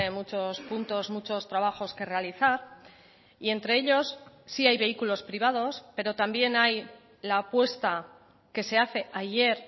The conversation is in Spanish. muchos puntos muchos trabajos que realizar y entre ellos sí hay vehículos privados pero también hay la apuesta que se hace ayer